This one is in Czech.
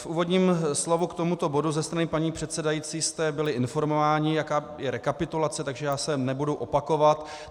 V úvodním slovu k tomuto bodu ze strany paní předsedající jste byli informováni, jaká je rekapitulace, takže já se nebudu opakovat.